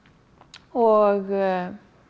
og